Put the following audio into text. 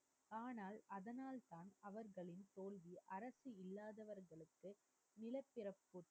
ஆனால் அதனால் தான் அவர்களும் தோல்வியை அரசு முறைஇல்லாதவர்களுக்கு நிலப்பிரப்பு